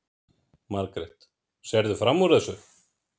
Margrét: Sérðu fram úr þessu?